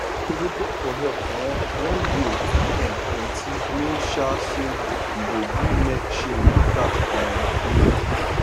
to dey beg for help um when bill too come plenty mean um say you go gree mek shame dey catch um you